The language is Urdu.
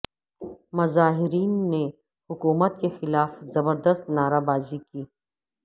مظاہرین نے حکومت کے خلاف زبردست نعرہ بازی کی